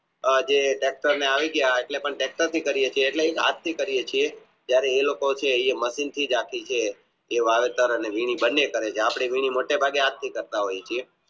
હાથ થી કરીયે છીએ જયારે એ લોકો છે એ મશીનથી જ જે વારસદાર અને આપણે વીણી હાથ થી કરતા હોય છીએ